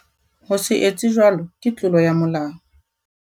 Ho se etse jwalo ke tlolo ya molao.